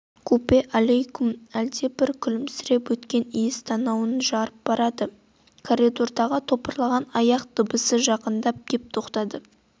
купе алакеум әлдебір күлімсі өткір иіс танауын жарып барады коридордағы топырлаған аяқ дыбысы жақындап кеп тоқтады